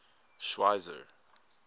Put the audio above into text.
schweizer